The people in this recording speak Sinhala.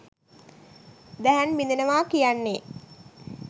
දැහැන් බිඳෙනවා කියන්නේ